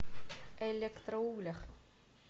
электроуглях